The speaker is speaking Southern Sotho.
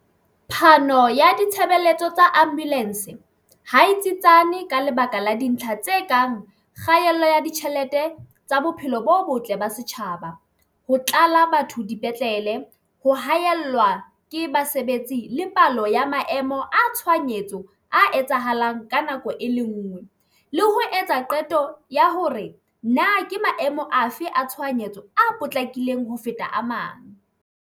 Phano ya ditshebeletso tsa Ambulance hae tsietsane, ka lebaka la dintlha tse kang kgaello ya ditjhelete tsa bophelo bo botle ba setjhaba, ho tlala batho dipetlele. Ho haellwa ke basebetsi le palo ya maemo a tshohanyetso a etsahalang ka nako e le ngwe, le ho etsa qeto ya hore na ke maemo afe a tshohanyetso a potlakileng ho feta a mang.